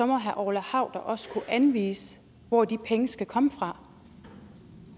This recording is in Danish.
må herre orla hav da også kunne anvise hvor de penge skal komme fra